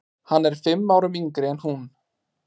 Hann er fimm árum yngri en hún.